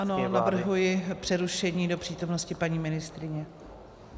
Ano, navrhuji přerušení do přítomnosti paní ministryně.